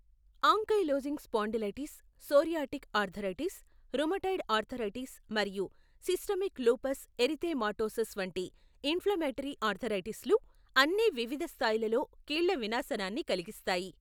Ankylosing spondylitis, psoriatic arthritis, rheumatoid arthritis మరియు systemic lupus erythematosus వంటి inflammatory ఆర్థరైటిస్లు అన్నీ వివిధ స్థాయిలలో కీళ్ళ వినాశనాన్ని కలిగిస్తాయి.